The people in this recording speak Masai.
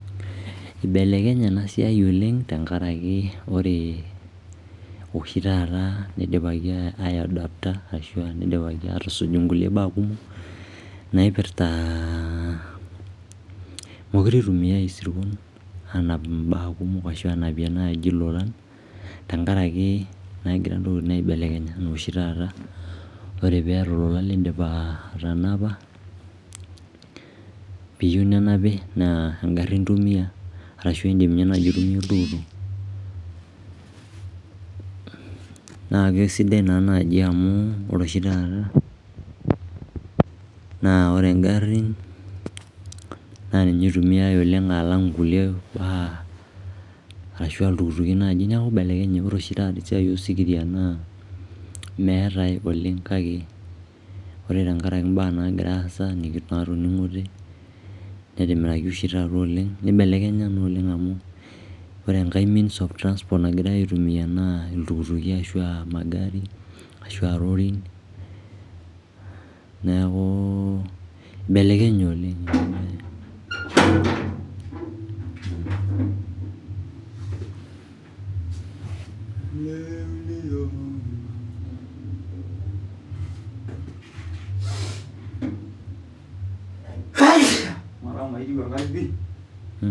Ibelekenye ena siai oleng tenkaraki ore oshi taata nidipaki aiadapta ashu nidipaki aatusuj nkulie baak kumok naipirta, mekure itumiae isirkon aanap imbaak kumok ashu aanapie ilolan tenkaraki egira intokiting aibelekenya oshi taata. Ore piata olola piimindim atanapa piyieu nenapi naa engarri intumie ashu indim ninye naai aitumia oltukutuk. Naa kesidai naa naaji amu ore oshi taata naa ore ngarrin naa ninye itumiae oleng alang' kulie baak arashu iltukutuki naaji neeku ibelekenye. Ore oshi taata esiai osikiria naa meetae oleng kake ore tenkaraki imbaak naagira aasa naatoning'ote netimiraki oshi taata oleng nibelekenya naa oleng amu ore enkae means of transport nagirae aitumia naa iltukutuki ashu aa magari ashu aa lorin neeku ibelekenye oleng.